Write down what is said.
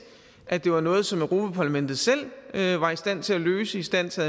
at det var noget som europa parlamentet selv var i stand til at løse i stand til